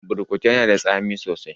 Burkutu yana da tsami sosai